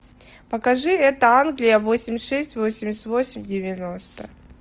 покажи это англия восемьдесят шесть восемьдесят восемь девяносто